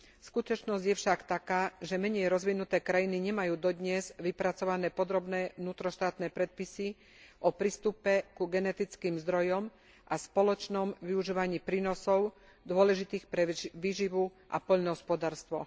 Skutočnosť je však taká, že menej rozvinuté krajiny nemajú dodnes vypracované podrobné vnútroštátne predpisy o prístupe ku genetickým zdrojom a spoločnom využívaní prínosov dôležitých pre výživu a poľnohospodárstvo.